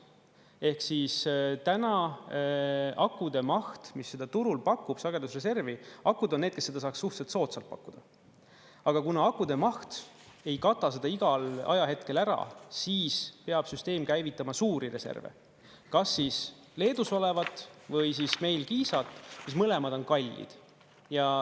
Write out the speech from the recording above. Ehk siis täna akude maht, mis seda turul pakub, sagedusreservi, akud on need, kes seda saab suhteliselt soodsalt pakkuda, aga kuna akude maht ei kata seda igal ajahetkel ära, siis peab süsteem käivitama suuri reserve, kas siis Leedus olevat või meil Kiisal, mis mõlemad on kallid.